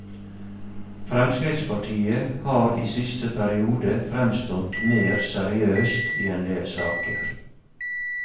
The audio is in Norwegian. Fremskrittspartiet har i siste periode fremstått mer seriøst i en del saker.